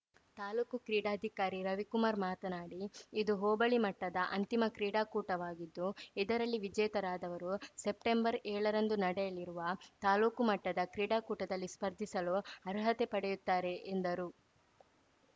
ತಾಲೂಕು ಕ್ರೀಡಾಧಿಕಾರಿ ರವಿಕುಮಾರ್‌ ಮಾತನಾಡಿ ಇದು ಹೋಬಳಿ ಮಟ್ಟದ ಅಂತಿಮ ಕ್ರೀಡಾಕೂಟವಾಗಿದ್ದು ಇದರಲ್ಲಿ ವಿಜೇತರಾದವರು ಸೆಪ್ಟೆಂಬರ್ ಏಳರಂದು ನಡೆಯಲಿರುವ ತಾಲೂಕು ಮಟ್ಟದ ಕ್ರೀಡಾಕೂಟದಲ್ಲಿ ಸ್ಪರ್ಧಿಸಲು ಅರ್ಹತೆ ಪಡೆಯುತ್ತಾರೆ ಎಂದರು